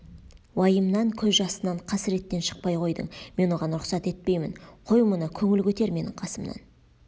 уайымнан көз жасынан қасіреттен шықпай қойдың мен оған рұқсат етпеймін қой мұны көңіл көтер менің қасымнан